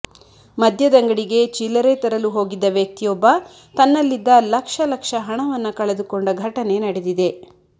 ಮದ್ಯದಂಗಡಿಗೆ ಚಿಲ್ಲರೆ ತರಲು ಹೋಗಿದ್ದ ವ್ಯಕ್ತಿಯೊಬ್ಬ ತನ್ನಲ್ಲಿದ್ದ ಲಕ್ಷ ಲಕ್ಷ ಹಣವನ್ನ ಕಳೆದುಕೊಂಡ ಘಟನೆ ನಡೆದಿದೆ